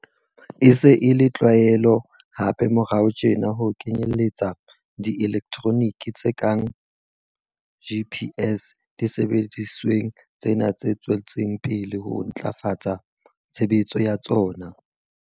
E se e le tlwaelo hape morao tjena ho kenyeletsa di-elektronike tse kang tsa GPS disebedisweng tsena tse tswetseng pele ho ntlafatsa tshebetso ya tsona.